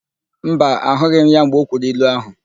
Mba, ahụghị m ya mgbe o kwuru ilu áhụ̀.